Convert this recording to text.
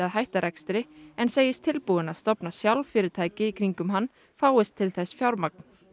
hætta rekstri en segist tilbúin að stofna sjálf fyrirtæki í kringum hann fáist til þess fjármagn